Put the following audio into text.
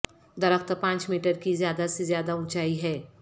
درخت پانچ میٹر کی زیادہ سے زیادہ اونچائی ہے